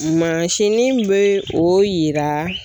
Mansinin bɛ o yira